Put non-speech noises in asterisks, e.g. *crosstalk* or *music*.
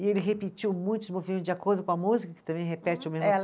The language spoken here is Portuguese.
E ele repetiu muitos movimentos de acordo com a música, que também repete o mesmo *unintelligible*